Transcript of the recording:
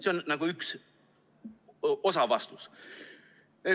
See on üks osa vastusest.